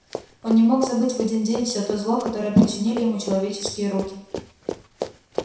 он не мог забыть в один день все то зло которое причинили ему человеческие руки